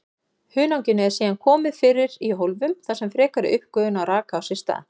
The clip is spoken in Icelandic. Hunanginu eru síðan komið fyrir í hólfum þar sem frekari uppgufun raka á sér stað.